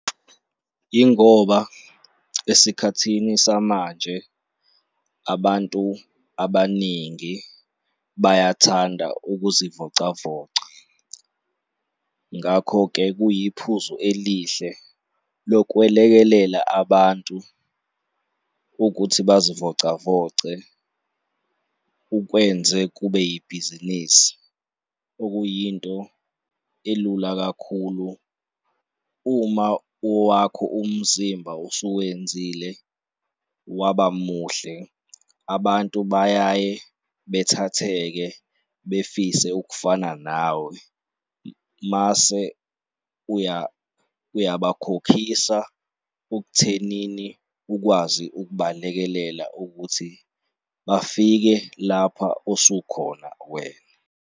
Yingoba esikhathini samanje abantu abaningi bayathanda ukuzivocavoca. Ngakho-ke kuye, yiphuzu elihle lokwelekelela abantu ukuthi bazivocavoce ukwenze kube yibhizinisi, okuyinto elula kakhulu. Uma owakho umzimba usuwenzile waba muhle, abantu bayaye bethatheke befise ukufana nawe mase ubayakhokhisa okuthenini ukwazi ukubalekelela ukuthi bafike lapha osukhona wena.